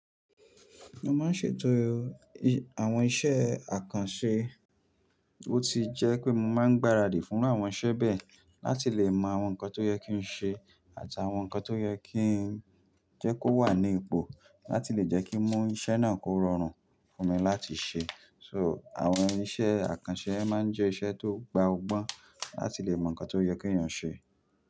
Mo máa ń ṣètò àwọn iṣẹ́ àkànṣe, ó ti jẹ́ pé mo máa ń gbáradì fún àwọn iṣẹ́ bẹ́ẹ̀ láti lè mọ àwọn nǹkan tó yẹ kí n ṣe àti àwọn nǹkan tó yẹ kí jẹ́ kó wà ní ipò láti lè jẹ́ kí mú iṣẹ́ náà kó rọrùn fún mi láti ṣe. So, àwọn iṣẹ́ àkànṣe máa ń jẹ́ iṣẹ́ tó gba ọgbọ́n láti lè mọ nǹkan tó yẹ kí èèyàn ṣe.